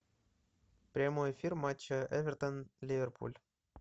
прямой эфир матча эвертон ливерпуль